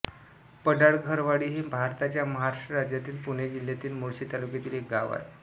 पडाळघरवाडी हे भारताच्या महाराष्ट्र राज्यातील पुणे जिल्ह्यातील मुळशी तालुक्यातील एक गाव आहे